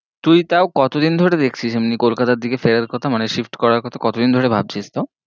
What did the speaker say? তুই তাও কতদিন ধরে দেখছিস এমনি কলকাতার দিকে ফেরার কথা মানে shift করার কথা কতদিন ধরে ভাবছিস তাও?